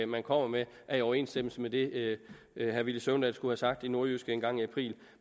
man kommer med er i overensstemmelse med det herre villy søvndal skulle have sagt i nordjyske engang i april